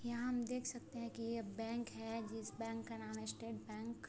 यहाँ हम देख सकते हैं की ये बैंक है जिस बैंक का नाम है स्टेट बैंक ।